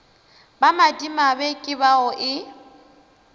ba madimabe ke bao e